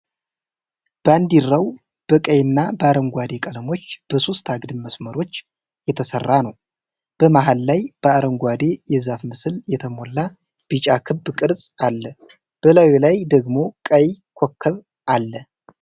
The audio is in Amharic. ባንዲራው በቀይና በአረንጓዴ ቀለሞች በሦስት አግድም መስመሮች የተሰራ ነው። በመሃል ላይ በአረንጓዴ የዛፍ ምስል የተሞላ ቢጫ ክብ ቅርጽ አለ፣ በላዩ ላይ ደግሞ ቀይ ኮከብ አለ።